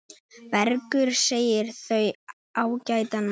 Bergur segir þau ágætan mat.